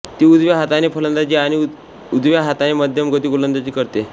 ती उजव्या हाताने फलंदाजी आणि उजव्या हाताने मध्यमगती गोलंदाजी करते